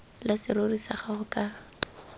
la serori sa gago ka